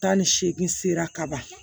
Tan ni seegin sera kaban